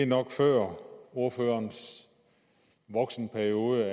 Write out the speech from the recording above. nok før ordførerens voksenperiode